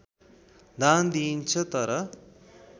दान दिइन्छ तर